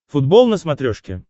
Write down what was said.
футбол на смотрешке